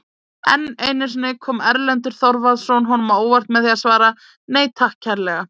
Enn einu sinni kom Erlendur Þorvarðarson honum á óvart með því að svara:-Nei takk kærlega!